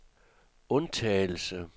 undtagelse